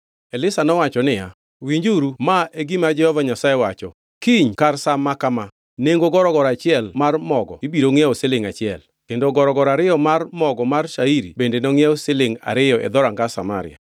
Elisha nowacho niya, “Winjuru wach ma Jehova Nyasaye. Ma e gima Jehova Nyasaye wacho: Kiny kar sa maka ma, nengo gorogoro achiel mar mogo ibiro ngʼiewo silingʼ achiel, kendo gorogoro ariyo mar mogo mar shairi bende nongʼiew silingʼ ariyo e dhoranga Samaria.”